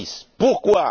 6. Pourquoi?